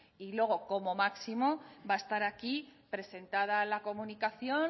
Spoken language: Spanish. y luego como máximo va a estar aquí presentada la comunicación